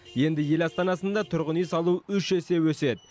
енді ел астанасында тұрғын үй салу үш есе өседі